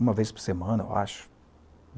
Uma vez por semana, eu acho.